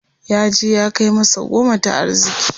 Yaje ya kai masa goma ta arziki.